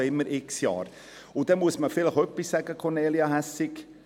Dann muss man vielleicht noch etwas sagen, Kornelia Hässig: